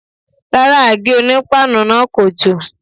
Rárá, àgé-onípáànù náà kò jò.